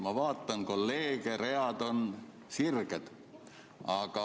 Ma vaatan kolleege, read on sirged.